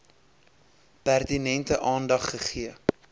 pertinente aandag gegee